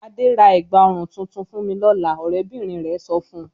"Adé ra ẹ̀gbá-ọrùn tuntun fún mi lọ́la!" Ọ̀rẹ́bìnrin rẹ̀ sọ fún un.